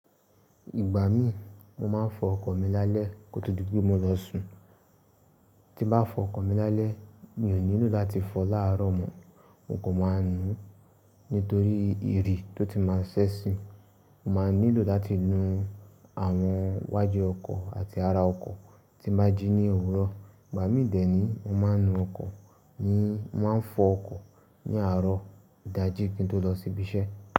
Ìgbà mí mo máa ń fọ ọkọ̀ mi lálẹ́ kó tó di pé mo lọ sùn. Tí nbá fọ ọkọ̀ mi lálẹ́ mi ò nílò láti fọ láàrọ̀ mọ́, mo kò máa nu nítorí ìrì tó ti máa ṣẹ́ṣi, mo máa nílò láti nu àwọn wájú ọkọ̀ àti ara ọkọ̀ tí nbá jí ní òwúrọ̀. Ìgbà mí dè ni mo máa ń nu ọkọ̀, mo máa ń fọ ọkọ̀ ní àárọ̀ ìdájí kí n tó lọ síbi iṣẹ́.